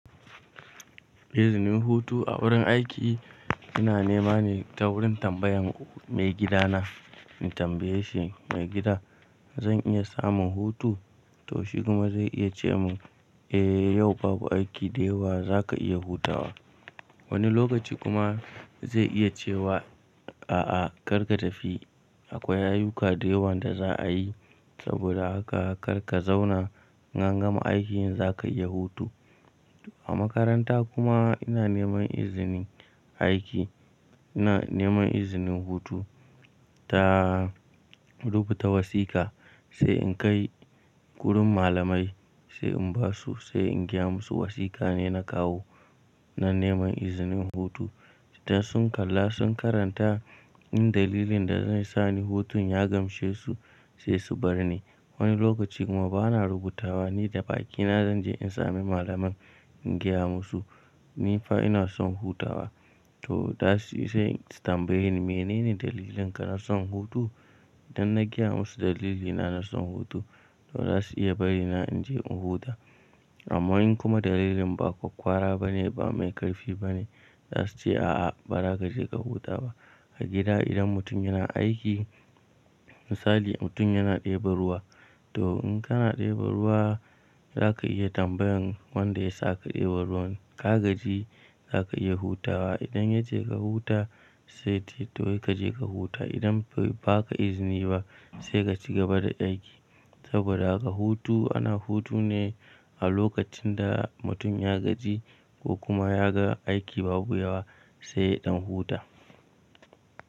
Izinin hutu a wurin aiki ina nema ne ta wurin tambayan maigidana. In tambaye shi maigida zan iya samun hutu? To shi kuma zai iya ce min, “Eh yau babu aiki da yawa za ka iya hutawa.” Wani lokaci kuma zai iya cewa, “A'a kar ka tafi akwai ayuka da yawa da za a yi. Saboda haka kar ka zauna in an gama aikin za ka iya hutu.” A makaranta kuma ina neman izinin aiki, ina neman izinin hutu ta rubuta wasiƙa, sai in kai wurin malamai sai in basu sai in gaya musu wasiƙa ne na kawo na neman izinin hutu. Idan sun kalla sun karanta in dalilin da zai sani hutun ya gamshe su sai su bar ni. Wani lokaci kuma bana rubutawa ni da bakina zan je in sami malamin in gaya musu, nifa ina son hutawa. To da su yi sai tambayin, “mene ne dalilinka na son hutu?” Idan na gaya musu dalilina na son hutu, to za su iya bari na in je in huta. Amma in kuma dalilin ba kwakwara bane ba mai ƙarfi bane, za su ce a'a ba za ka je ka huta ba. A gida idan mutum yana aiki, misali mutum yana ɗebo ruwa to in kana ɗebo ruwa za ka iya tambayan wanda ya sa ka ɗebo ruwan ka gaji za ka iya hutawa. Idan ya ce ka huta sai ce toyi ka je ka huta. Idan bai ba ka izini ba sai ka ci gaba da aiki. Saboda haka hutu ana hutu ne a lokacin da mutum ya gaji ko kuma ya ga aiki babu yawa sai ɗan huta.